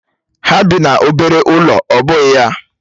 Ha bị n'obere ụlọ ọ́ bụghị ya?